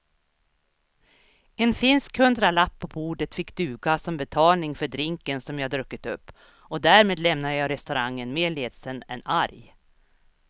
En finsk hundralapp på bordet fick duga som betalning för drinken som jag druckit upp och därmed lämnade jag restaurangen mer ledsen än arg.